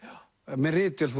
með ritvél